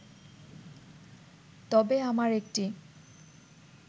তবে আমার একটি